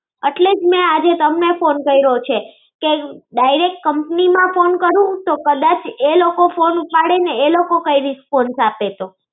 એટલે જ મેં આજે તમને phone કર્યો છે કે direct company માં phone કરું તો કદાચ એ લોકો phone ઉપાડે ને એ લોકો કઈ દૈસ ફોન આપે તો